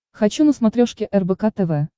хочу на смотрешке рбк тв